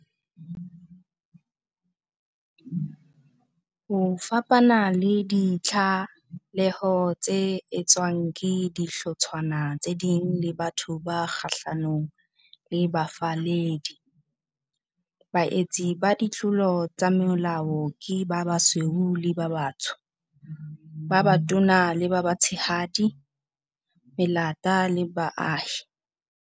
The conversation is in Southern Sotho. Ho fapana le ditlaleho tse etswang ke dihlotshwana tse ding le batho ba kgahlanong le bafalledi, baetsi ba ditlolo tsa molao ke ba basweu le ba batsho, ba batona le ba batshehadi, melata le baahi.